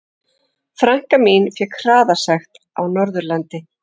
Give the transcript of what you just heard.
Frænka mín fékk hraðasekt á Norðurlandi.